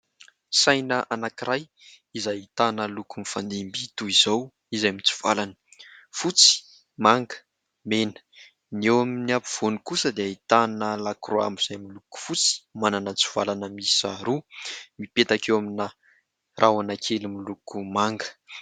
Saina anankiray izay ahitana loko mifandimby toy izao, izay mitsivalana fotsy, manga, mena ; ny eo amin'ny ampovoany kosa dia ahitana lakroa izay miloko fotsy, manana tsivalana miisa roa mipetaka eo amina rahona kely miloko manga.